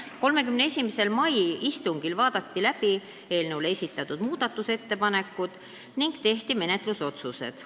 31. mai istungil vaadati läbi eelnõu kohta esitatud muudatusettepanekud ning tehti menetlusotsused.